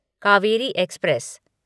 Kaveri express